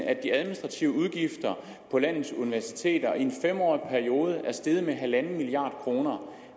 at de administrative udgifter på landets universiteter i en fem årig periode er steget med en milliard kroner